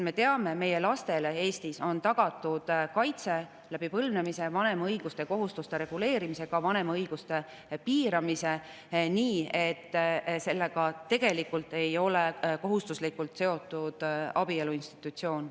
Me teame, et meie lastele Eestis on tagatud kaitse põlvnemise, vanema õiguste ja kohustuste reguleerimise, ka vanema õiguste piiramise kaudu nii, et sellega tegelikult ei ole kohustuslikult seotud abielu institutsioon.